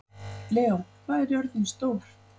Leó, hvað er jörðin stór?